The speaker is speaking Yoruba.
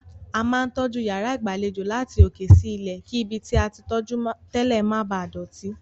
A máa ń tọ́jú yàrá ìgbàlejò láti òkè sí ilẹ̀, kí ibi tí a tí tọ́jú tẹ́lẹ̀ má bàá dọ̀tí.